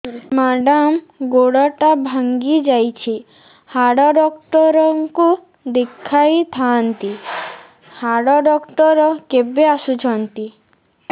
madam ଗୋଡ ଟା ଭାଙ୍ଗି ଯାଇଛି ହାଡ ଡକ୍ଟର ଙ୍କୁ ଦେଖାଇ ଥାଆନ୍ତି ହାଡ ଡକ୍ଟର କେବେ ଆସୁଛନ୍ତି